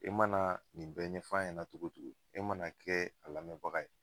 E mana nin bɛn ɲɛfɔ a ɲɛnɛ na togo togo e mana kɛ a lamɛnbaga ye